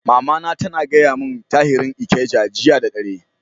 Mama na tana gaya mun tarihin Ikeja jiya da dare.